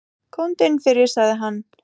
Komdu inn fyrir, sagði hann.